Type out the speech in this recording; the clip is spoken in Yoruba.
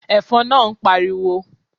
Ẹ̀fọn naa ń pariwo